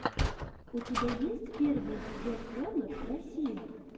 у тебя есть первый эпизод хонор россия